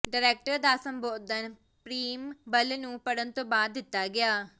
director ਦਾ ਸੰਬੋਧਨ preamble ਨੂੰ ਪੜ੍ਹਨ ਤੋਂ ਬਾਅਦ ਦਿੱਤਾ ਗਿਆ